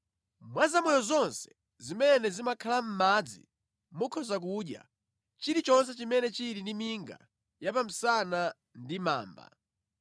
Mwa zamoyo zonse zimene zimakhala mʼmadzi, mukhoza kudya chilichonse chimene chili ndi minga ya pa msana ndi mamba.